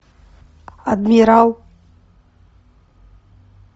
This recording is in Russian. адмирал